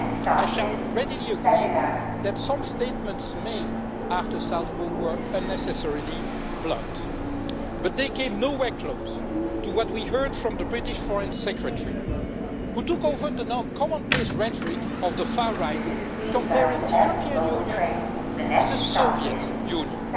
I shall readily agree that some statements made after Salzburg were unnecessarily blunt, but they came nowhere close to what we heard from the British Foreign Secretary, who took over the now commonplace rhetoric of the far right, comparing the European Union with the Soviet Union.